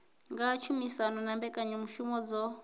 nga tshumisano na mbekanyamushumo dzo